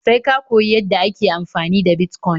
Sai ka koyi yadda ake amfani da Bitcoin